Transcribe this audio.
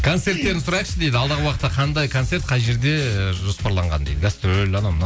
концерттерін сұрайықшы дейді алдағы уақытта қандай концерт қай жерде ы жоспарланған гастроль анау мынау